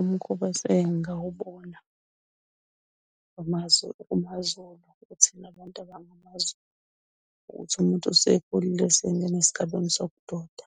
Umkhosi esingawubona amaZulu, kumaZulu kuthina bantu abangamaZulu ukuthi umuntu osekhulile osengena esigabeni sokuba indoda